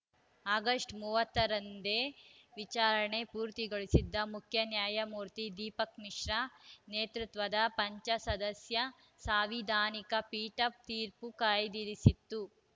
August ಮೂವತ್ತ ರಂದೇ ವಿಚಾರಣೆ ಪೂರ್ತಿಗೊಳಿಸಿದ್ದ ಮುಖ್ಯ ನ್ಯಾಯಮೂರ್ತಿ ದೀಪಕ್‌ ಮಿಶ್ರಾ ನೇತೃತ್ವದ ಪಂಚಸದಸ್ಯ ಸಾಂವಿಧಾನಿಕ ಪೀಠ ತೀರ್ಪು ಕಾಯ್ದಿರಿಸಿತ್ತು